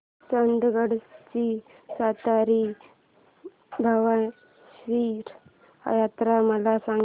चंदगड ची सातेरी भावेश्वरी यात्रा मला सांग